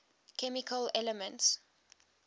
chemical elements